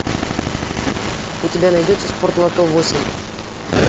у тебя найдется спортлото восемь